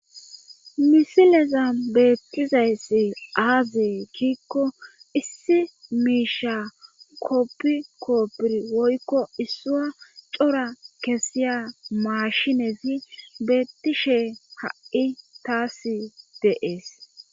misileza beettizayssi aazie kiikko issi miisha koppi koopir woykko issuwa cora kesiya maashinezi beettishe ha7i taas dee'es